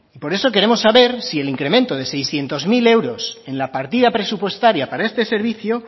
por eso queremos saber si el incremento de seiscientos mil euros en la partida presupuestaria para este servicio